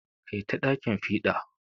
Kai ta ɗakin fiɗa.